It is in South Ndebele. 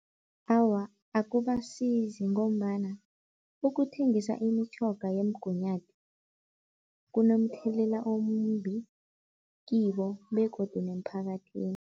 Awa, akubasizi ngombana ukuthengisa imitjhoga yemgunyathi kunomthelela omumbi kibo begodu nemphakathini.